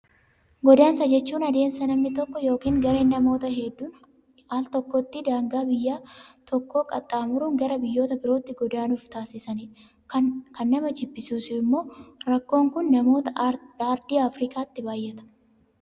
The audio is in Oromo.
Godaansa jechuun adeemsa namni tokko yookaan gareen namootaa hedduun Al takkaatti daangaa biyya tokkoo qaxxaamuruun gara biyyoota birootti godaanuuf taasisanidha. Kan nama jibbisiisu immoo rakkoon Kun namoota aartii Afrikaatti baay'ata.